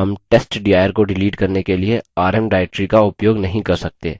rm testdir को delete करने के लिए rm directory का उपयोग नहीं कर सकते